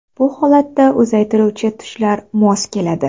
Bu holatda uzaytiruvchi tushlar mos keladi.